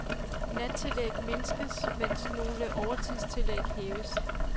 Nattillæg mindskes, mens nogle overtidstillæg hæves.